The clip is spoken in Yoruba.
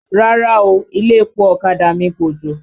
Rárá o, ilé-epo ọ̀kadà mi kòjò.